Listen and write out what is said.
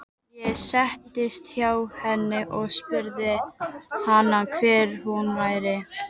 Ég settist hjá henni og spurði hana hver hún væri.